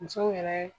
Musow yɛrɛ